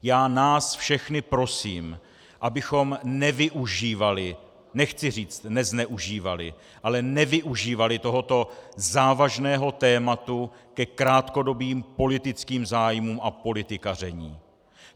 Já nás všechny prosím, abychom nevyužívali, nechci říct nezneužívali, ale nevyužívali tohoto závažného tématu ke krátkodobým politickým zájmům a politikaření.